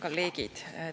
Head kolleegid!